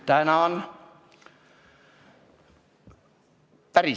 Tänan!